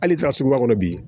Hali taa suguba kɔnɔ bi